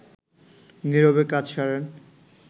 নীরবে কাজ সারেন